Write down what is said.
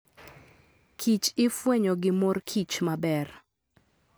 Kich ifwenyo gi mor kich maber.